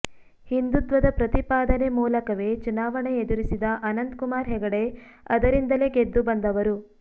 ಹಿಂದುತ್ವದ ಪ್ರತಿಪಾದನೆ ಮೂಲಕವೇ ಚುನಾವಣೆ ಎದುರಿಸಿದ ಅನಂತ್ ಕುಮಾರ್ ಹೆಗಡೆ ಅದರಿಂದಲೇ ಗೆದ್ದು ಬಂದವರು